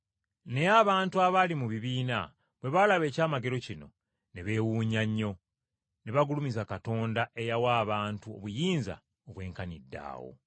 Naye abantu abaali mu bibiina bwe baalaba ekyamagero kino ne beewuunya nnyo! Ne bagulumiza Katonda eyawa abantu obuyinza obwenkaniddaawo!